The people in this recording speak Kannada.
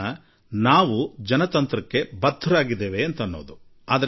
ಆದರೆ ನಾವು ಪ್ರಜಾಪ್ರಭುತ್ವಕ್ಕೆ ಬದ್ಧರಾಗಿ ಇರುವುದರಿಂದ ಇದೆಲ್ಲಾ ಸಾಧ್ಯ